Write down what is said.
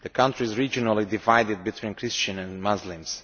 The country is regionally divided between Christians and Muslims.